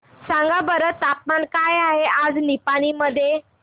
सांगा बरं तापमान काय आहे आज निपाणी मध्ये